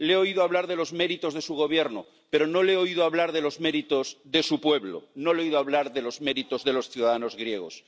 Le he oído hablar de los méritos de su Gobierno, pero no le he oído hablar de los méritos de su pueblo, no le he oído hablar de los méritos de los ciudadanos griegos.